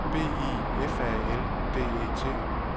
B I F A L D E T